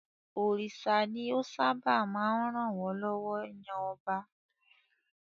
Òrìṣà ni ó sábà máa ń ràn wọ́n lọ́wọ́ yan ọba.